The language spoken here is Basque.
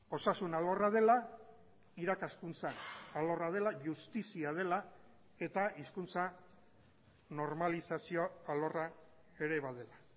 osasun alorra dela irakaskuntza alorra dela justizia dela eta hizkuntza normalizazio alorra ere badela